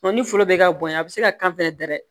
ni foro bɛ ka bonya a bɛ se ka kan fɛnɛ da dɛ